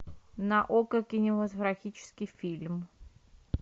на окко кинематографический фильм